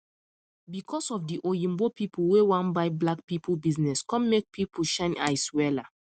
because of di oyinbo people wey wan buy black people business come make people shine eyes wella